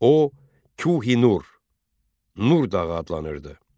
O, Kuhinur, Nur dağı adlanırdı.